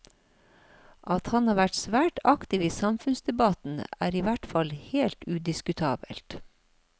At han har vært svært aktiv i samfunnsdebatten er i hvert fall helt udiskutabelt.